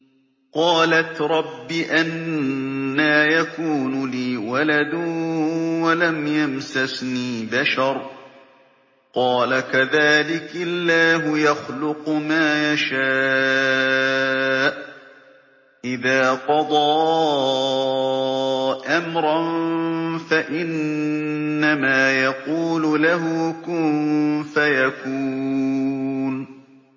قَالَتْ رَبِّ أَنَّىٰ يَكُونُ لِي وَلَدٌ وَلَمْ يَمْسَسْنِي بَشَرٌ ۖ قَالَ كَذَٰلِكِ اللَّهُ يَخْلُقُ مَا يَشَاءُ ۚ إِذَا قَضَىٰ أَمْرًا فَإِنَّمَا يَقُولُ لَهُ كُن فَيَكُونُ